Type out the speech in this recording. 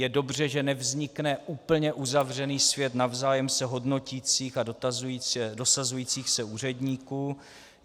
Je dobře, že nevznikne úplně uzavřený svět navzájem se hodnotících a dosazujících se úředníků.